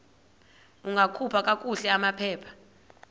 ungakhupha kakuhle amaphepha